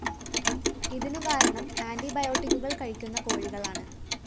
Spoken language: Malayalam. ഇതിനു കാരണം ആന്റിബയോട്ടിക്കുകള്‍ കഴിക്കുന്ന കോഴികളാണ്